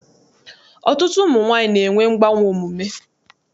Ọtụtụ ụmụ nwaanyị na-enwe mgbanwe omume.